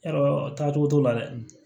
Yɔrɔ taa cogo t'o la dɛ